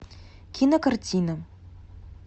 кинокартина